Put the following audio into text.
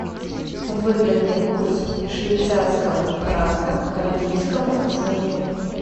выгодный курс швейцарского франка к английскому фунту